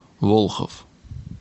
волхов